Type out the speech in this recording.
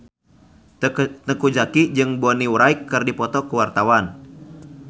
Teuku Zacky jeung Bonnie Wright keur dipoto ku wartawan